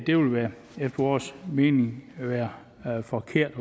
det vil efter vores mening være forkert at